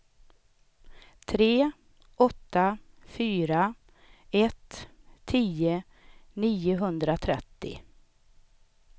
tre åtta fyra ett tio niohundratrettio